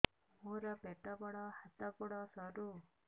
ମୋର ପେଟ ବଡ ହାତ ଗୋଡ ସରୁ